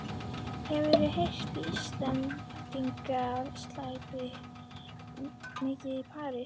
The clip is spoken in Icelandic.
Hefur heyrt að Íslendingar slæpist mikið í París.